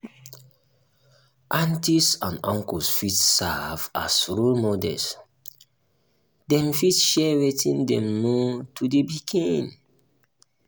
aunties and auncles fit serve as role models dem fit share wetin dem know to the pikin